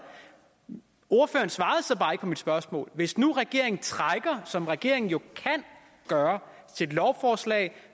ordføreren svarede så bare ikke på mit spørgsmål hvis nu regeringen trækker som regeringen jo kan gøre sit lovforslag